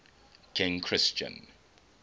king christian